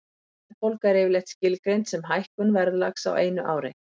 Verðbólga er yfirleitt skilgreind sem hækkun verðlags á einu ári.